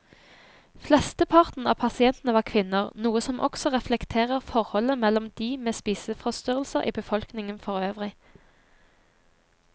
Flesteparten av pasientene var kvinner, noe som også reflekterer forholdet mellom de med spiseforstyrrelser i befolkningen for øvrig.